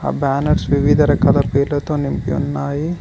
ఆ బ్యానర్స్ వివిధ రకాల పేర్లతో నింపి ఉన్నాయి.